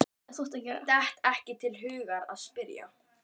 Datt ekki til hugar að spyrja.